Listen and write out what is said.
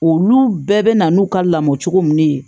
Olu bɛɛ bɛ na n'u ka lamɔ cogo min ye